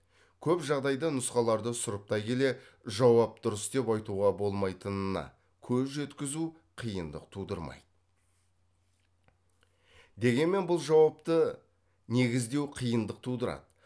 көп жағдайда нұсқаларды сұрыптай келе жауап дұрыс деп айтуға болмайтынына көз жеткізу қиындық тудырмайды дегенмен бұл жауапты негіздеу қиындық тудырады